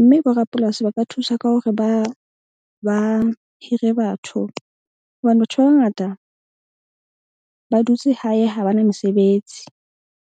Mme borapolasi ba ka thusa ka hore ba hire batho, hobane batho ba bangata ba dutse hae ha bana mesebetsi.